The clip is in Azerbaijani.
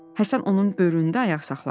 Həsən onun böyründə ayaq saxladı.